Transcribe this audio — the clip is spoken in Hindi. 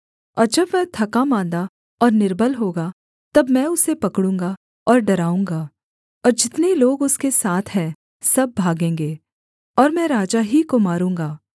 और जब वह थकामाँदा और निर्बल होगा तब मैं उसे पकड़ूँगा और डराऊँगा और जितने लोग उसके साथ हैं सब भागेंगे और मैं राजा ही को मारूँगा